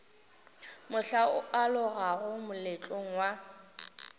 mohla o alogago moletlong wa